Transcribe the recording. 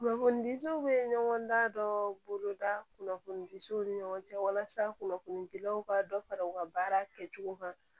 Kunnafonidiw bɛ ɲɔgɔn da dɔ boloda kunnafonidiw ni ɲɔgɔn cɛ walasa kunnafoni dilaw ka dɔ fara u ka baara kɛcogo kan